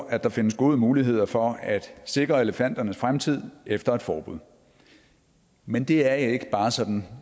at der findes gode muligheder for at sikre elefanternes fremtid efter et forbud men det er ikke bare sådan